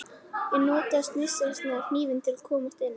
Ég nota svissneska hnífinn til að komast inn.